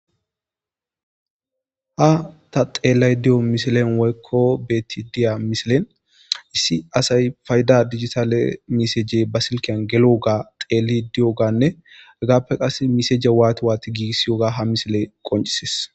Ha ta xeelay diyo misilen waykko beti diya misilen issi asay fayda dijitaale miseje basilkiyan gelooga xeeli di'oganne agaappe qase miseje waati waati giigiss yoga ha misile qoncises.